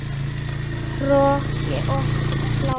Hroki og hlátur.